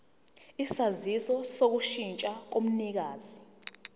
isaziso sokushintsha komnikazi